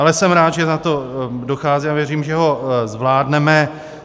Ale jsem rád, že na to dochází, a věřím, že ho zvládneme.